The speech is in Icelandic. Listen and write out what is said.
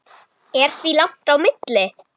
Er því langt á milli.